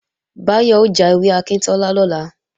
Báyọ̀ ó já ewé akíntọ́lá lọ́la